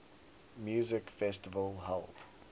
music festival held